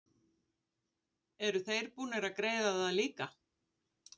Eru þeir búnir að greiða það líka?